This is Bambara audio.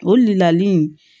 O lali